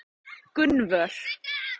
Gunnvör